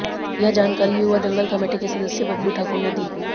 यह जानकारी युवा दंगल कमेटी के सदस्य बबली ठाकुर ने दी